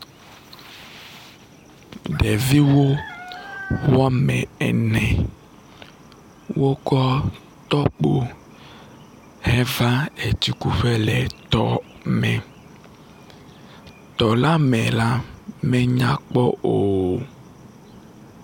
Ɖeviwo wɔme ene wokɔ tɔkpo heva etsikuƒe le tɔ me. tɔ la me la menya kpɔ o.